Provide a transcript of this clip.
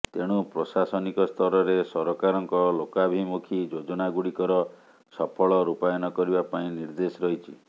ତେଣୁ ପ୍ରଶାସନିକ ସ୍ତରରେ ସରକାରଙ୍କ ଲୋକାଭିମୁଖୀ ଯୋଜନାଗୁଡ଼ିକର ସଫଳ ରୂପାୟନ କରିବା ପାଇଁ ନିର୍ଦ୍ଦେଶ ରହିଛି